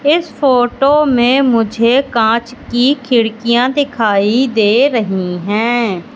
इस फोटो में मुझे कांच की खिड़कियां दिखाई दे रही हैं।